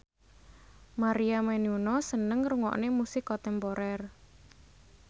Maria Menounos seneng ngrungokne musik kontemporer